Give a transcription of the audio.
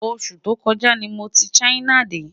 osù tó kò ja ní mọ tí China dé